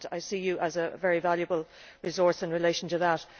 I see you as a very valuable resource in relation to that.